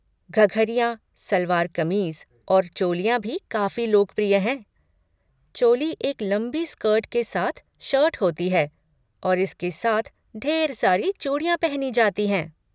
घघरियाँ, सलवार कमीज़ और चोलियाँ भी काफ़ी लोकप्रिय हैं। चोली एक लंबी स्कर्ट के साथ शर्ट होती है और इसके साथ ढेर सारी चूड़ियाँ पहनी जाती हैं।